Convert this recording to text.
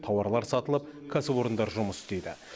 тауарлар сатылып кәсіпорындар жұмыс істейді